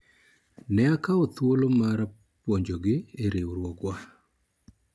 ne akawo thuolo mara puonjo gi ewi riwruogwa